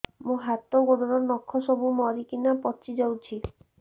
ମୋ ହାତ ଗୋଡର ନଖ ସବୁ ମରିକିନା ପଚି ଯାଉଛି